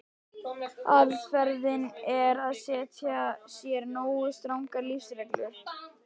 Aðferðin er að setja sér nógu strangar lífsreglur.